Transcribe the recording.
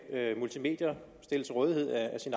multimedier stillet til rådighed